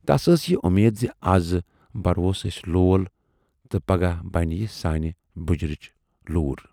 تَس ٲس یہِ وۅمید زِ اَز بَروس ٲسۍ لول تہٕ پگاہ بَنہِ یہِ سانہِ بُجرٕچ لوٗر۔